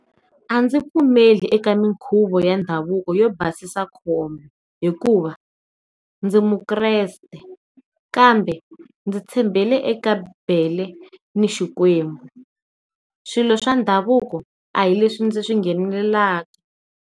A ndzi pfumeli eka minkhuvo ya ndhavuko yo basisa khomba hikuva ndzi mukreste kambe ndzi tshembele eka bibele ni xikwembu swilo swa ndhavuko a hi leswin dzi swi nghenelelaka.